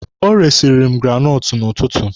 Ọ resiri m granọtụ n'ụtụtụ.